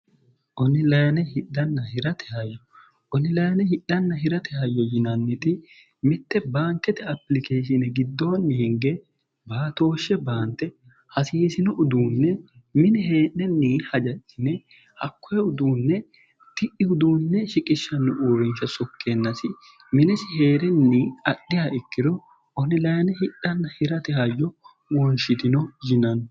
onilayine hidhanna hirate hayyo yinanniti mitte baankete apilikeeshine giddoonni hinge baatooshshe baante hasiisino uduunne mini heedhenni hajajcine hakkohe uduunne ti'iuduunne shiqishshanno uurrinsha sokkeennasi minesi hee'renni adhiha ikkiro onilayine hidhanna hirate hayyo woonshitino yinanno